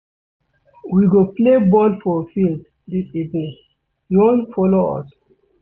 We go play ball for field dis evening, you wan folo us.